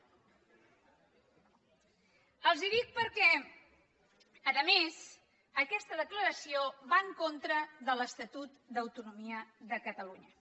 els ho dic perquè a més aquesta declaració va en contra de l’estatut d’autonomia de catalunya